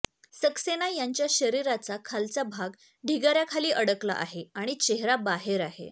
सक्सेना यांच्या शरीराचा खालचा भाग ढिगाऱ्याखाली अडकला आहे आणि चेहरा बाहेर आहे